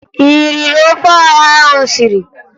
Ị riri ofe ọha ahụ m siri?